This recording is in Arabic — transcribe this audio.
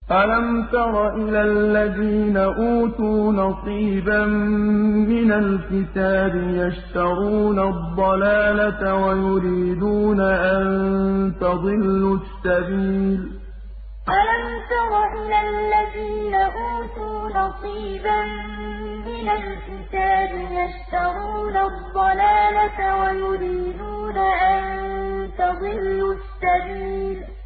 أَلَمْ تَرَ إِلَى الَّذِينَ أُوتُوا نَصِيبًا مِّنَ الْكِتَابِ يَشْتَرُونَ الضَّلَالَةَ وَيُرِيدُونَ أَن تَضِلُّوا السَّبِيلَ أَلَمْ تَرَ إِلَى الَّذِينَ أُوتُوا نَصِيبًا مِّنَ الْكِتَابِ يَشْتَرُونَ الضَّلَالَةَ وَيُرِيدُونَ أَن تَضِلُّوا السَّبِيلَ